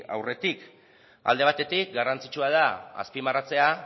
aurretik alde batetik garrantzitsua da azpimarratzea